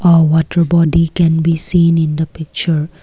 a water body can be seen in the picture.